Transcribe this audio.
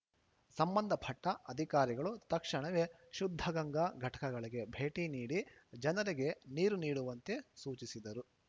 ಸಂಬಂಧಪಟ್ಟಅಧಿಕಾರಿಗಳು ತಕ್ಷಣವೇ ಶುದ್ಧಗಂಗಾ ಘಟಕಗಳಿಗೆ ಭೇಟಿ ನೀಡಿ ಜನರಿಗೆ ನೀರು ನೀಡುವಂತೆ ಸೂಚಿಸಿದರು